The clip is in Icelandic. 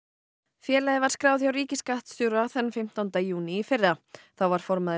félagið var skráð hjá ríkisskattstjóra þann fimmtánda júní í fyrra þá var formaður